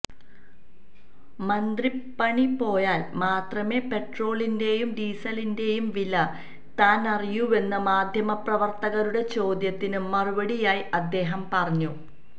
മന്ത്രിപ്പണി പോയാല് മാത്രമേ പെട്രോളിന്റെയും ഡീസലിന്റെയും വില താനറിയൂവെന്ന് മാധ്യമപ്രവര്ത്തകരുടെ ചോദ്യത്തിന് മറുപടിയായി അദ്ദേഹം പറഞ്ഞു